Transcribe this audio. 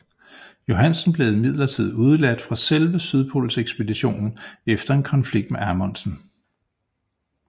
Johansen blev imidlertid udeladt fra selve sydpolsekspeditionen efter en konflikt med Amundsen